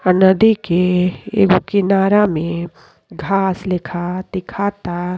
ह नदी के एगो किनारा में घास लेखा दिखता।